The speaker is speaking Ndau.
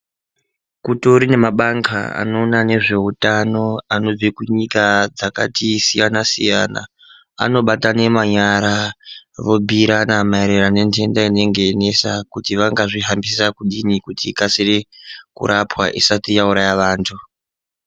Kutori nemabandla anoona nezveutano anobva kunyika dzakatisiyana-siyana anobatane manyara vobhuirana maererano nentenda inenge yeinesa kuti vangazvihambisa kudini kuti ikasire kurapwa usati yauraya vantu.